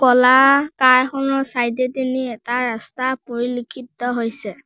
ক'লা কাৰ খনৰ চাইড এ দিনি এটা ৰাস্তা পৰিলিক্ষিত হৈছে।